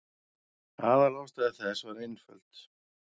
Aðalástæða þess var einföld.